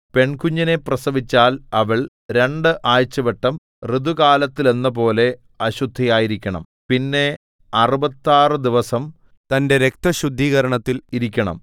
പെൺകുഞ്ഞിനെ പ്രസവിച്ചാൽ അവൾ രണ്ട് ആഴ്ചവട്ടം ഋതുകാലത്തെന്നപോലെ അശുദ്ധയായിരിക്കണം പിന്നെ അറുപത്താറു ദിവസം തന്റെ രക്തശുദ്ധീകരണത്തിൽ ഇരിക്കണം